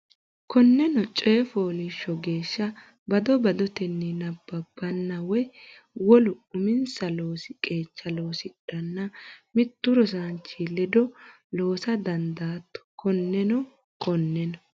Konneno coy fooliishsho geeshsha bado badotenni nabbabbanna woy wole uminsa loosi qeecha loosidhanna mittu rosaanchi ledo loosa dandaatto Konneno Konneno.